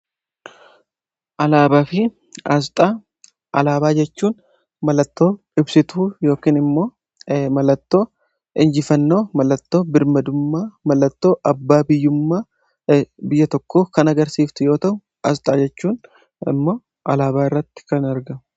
alaabaa fi aasxaa, alaabaa jechuun mallattoo ibsitu yookimmo mallattoo injifannoo mallattoo birmadummaa mallattoo abbaa biyyummaa biyya tokko kan agarsiift yoo tau aasxaa jechuun immoo alaabaa irratti kan argamu.